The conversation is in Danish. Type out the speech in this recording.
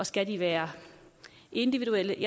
skal være individuelle